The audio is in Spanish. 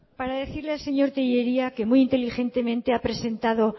para decirle al señor tellería que muy inteligentemente ha presentado